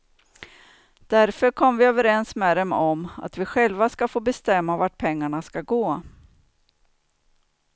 Därför kom vi överens med dem om att vi själva ska få bestämma vart pengarna ska gå.